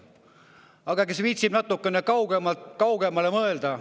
Aga kes viitsib natuke kaugemale mõelda …